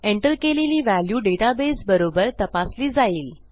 enter केलेली value database बरोबर तपासली जाईल